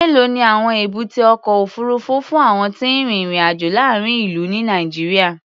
Mélòó ni àwọn èbúté ọkọ̀ òfuurufú fún àwọn tí ń rin ìrìn-àjò láàárín ìlú, ní Nàìjíríà?